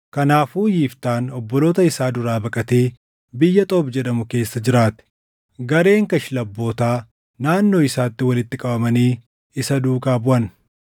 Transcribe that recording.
Kanaafuu Yiftaan obboloota isaa duraa baqatee biyya Xoob jedhamu keessa jiraate; gareen kashlabbootaa naannoo isaatti walitti qabamanii isa duukaa buʼan.